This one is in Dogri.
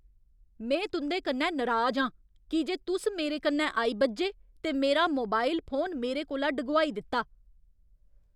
में तुं'दे कन्नै नराज आं की जे तुस मेरे कन्नै आई बज्झे ते मेरा मोबाइल फोन मेरे कोला डगोआई दित्ता।